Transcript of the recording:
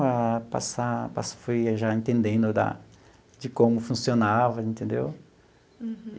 A passar passar fui já entendendo da de como funcionava, entendeu? Uhum.